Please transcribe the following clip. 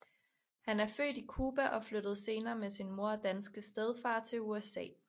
Han er født i Cuba og flyttede senere med sin mor og danske stedfar til USA